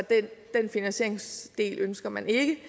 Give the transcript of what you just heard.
den finansieringsdel ønsker man ikke i